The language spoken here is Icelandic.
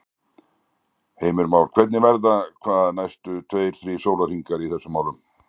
Heimir Már: Hvernig verða hvað næstu tveir, þrír sólarhringar í þessum málum?